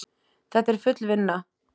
Þetta er full vinna!